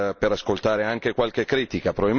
per ascoltare anche qualche critica.